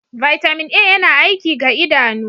Vitamin A yana aiki ga idanu.